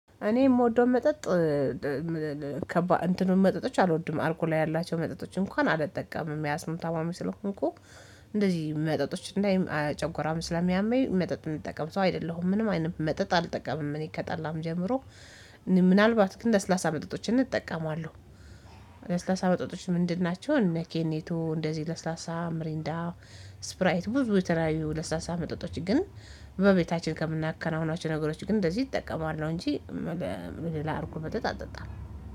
እኔ የምወደው መጠጥ እንትኑን መጠጦች አልወድም አልኮል ያላቸው መጠጦች እንኳን አልጠቀምም ያስም ታማሚ ስለሆንኩ እንደዚህ መጠጦች እንዳይ ጨጎራም ስለሚያመኝ መጠጥ እምጠቀም ሰው አይደለሁም ምንም አይነት መጠጥ አልጠቀምም እኔ ከጠላም ጀምሮ ምናልባት ግን ለስላሳ መጠጦችን እጠቀማለሁ ለስላሳ መጠጦች ምንድን ናቸው እነ ኬኔቶ እንደዚህ ለስላሳ፥ ምሪንዳ ፥ስፕራይት ብዙ የተለያዩ ለስላሳ መጠጦች ግን በቤታችን ከምናከናውናቸው ነገሮች ግን እንደዚህ እጠቀማለሁ እንጂ ሌላ እርጎ መጠጥ አልጠጣም።